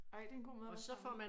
Ej det en god måde at være sammen